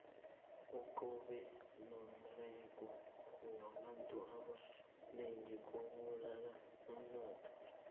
ukungabi nomberego kwabantu ebanengi kubulala umnotho